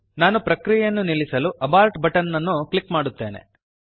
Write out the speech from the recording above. ನಾನು ಪ್ರಕ್ರಿಯೆಯನ್ನು ನಿಲ್ಲಿಸಲು ಅಬೋರ್ಟ್ ಬಟನ್ ಅನ್ನು ಕ್ಲಿಕ್ ಮಾಡುತ್ತೇನೆ